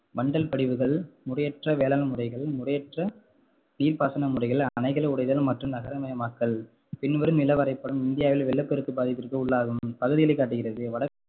வண்டல் படிவுகள், முறையற்ற வேளாண்முறைகள், முறையற்ற நீர்பாசன முறைகள், அணைகள் உடைதல் மற்றும் நகரமயமாக்கல் பின்வரும் நிலவரைபடம் இந்தியாவில் வெள்ளப்பெருக்கு பாதிப்பிற்கு உள்ளாகும் பகுதிகளை காட்டுகிறது